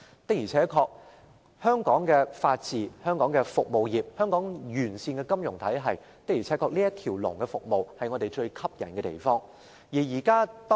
當然，憑藉香港的法治環境、多種服務行業及一個完善的金融體系，我們可提供"一條龍"服務，這是我們所擁有的優勢。